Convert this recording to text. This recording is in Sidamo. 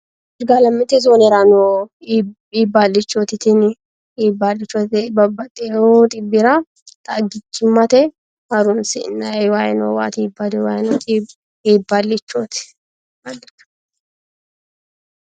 irgaalamete zoonera noo iibballichooti tini. iibballicho babbaxxino xibbira xagichimmate horonsi'nayi wayi noowaayi iibballichooti.